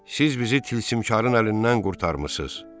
Siz bizi tilsimkarın əlindən qurtarmısınız.